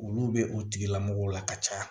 Olu bɛ o tigilamɔgɔw la ka caya